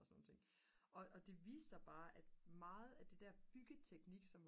og sådan nogle ting og det viste sig bare at meget af det der byggeteknik som